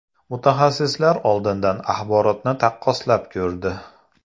Mutaxassislar olingan axborotni taqqoslab ko‘rdi.